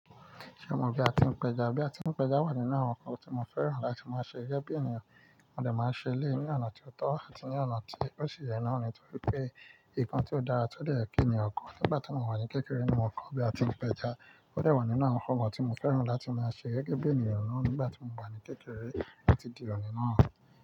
Ṣé mo bí a ti ń péjá? Bí a ti ń péjá wà nínú àwọn ǹkan tí mo fẹ́ràn láti máa ṣe gẹ́gẹ́ bí ènìyàn, mo dà máa ṣe eléyii ní ọ̀nà tí ó tọ́ àti ní ọ̀nà tí ó sì yẹ náà ni. Nítorí pé nǹkan tí ó dára tó dẹ̀ kí ènìyàn kọ́ nígbà tí mo wà ní kékeré ni mo kọ́ bí a tí ń péjá. Ó dà wà nínú àwọn ǹkan tí mo fẹ́ràn láti máa ṣe gẹ́gẹ́ bí ènìyàn náà nígbà tí mo wà ní kékeré títí di òní náà.